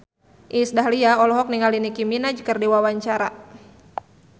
Iis Dahlia olohok ningali Nicky Minaj keur diwawancara